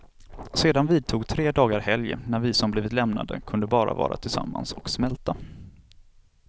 Sedan vidtog tre dagar helg, när vi som blivit lämnade kunde bara vara tillsammans och smälta.